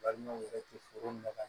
Balimaw yɛrɛ tɛ foro minɛ